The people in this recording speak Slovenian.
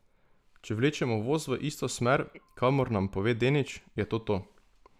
Če vlečemo voz v isto smer, kakor nam pove Denič, je to to.